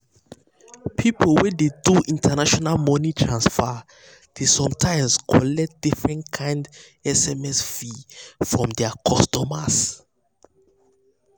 people wey dey do international money transfer dey sometimes collect different kind sms fee from their customers.